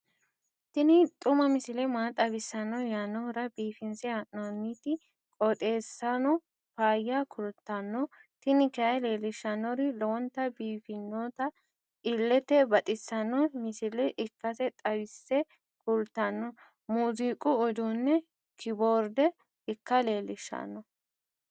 tini xuma misile maa xawissanno yaannohura biifinse haa'noonniti qooxeessano faayya kultanno tini kayi leellishshannori lowonta biiffinota illete baxissanno misile ikkase xawisse kultanno. muuziqu uduunne kiboorde ikka leellishshanno